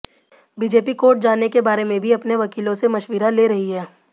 BJP court जाने के बारे में भी अपने वकीलों से मशविरा ले रही है